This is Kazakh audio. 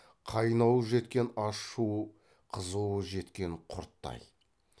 қайнауы жеткен ашу қызуы жеткен құрттай